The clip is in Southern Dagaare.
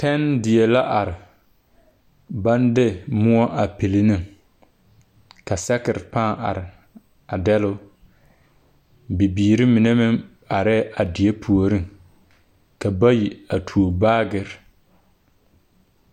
Tɛne die la are baŋ de moɔ a pilli ne ka sakere pãâ are a dɛle o bibiiri mine meŋ arɛɛ a die puoriŋ ka bayi a tuo baagere.